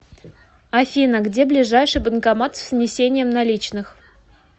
афина где ближайший банкомат с внесением наличных